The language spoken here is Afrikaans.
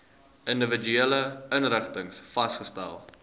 individuele inrigtings vasgestel